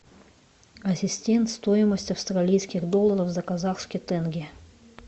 ассистент стоимость австралийских долларов за казахский тенге